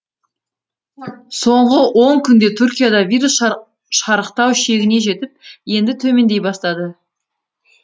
соңғы он күнде түркияда вирус шарықтау шегіне жетіп енді төмендей бастады